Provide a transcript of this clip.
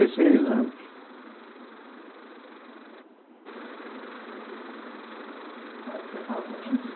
anos. Bom, o senhor falou também quer